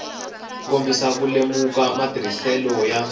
kombisa ku lemuka matirhiselo ya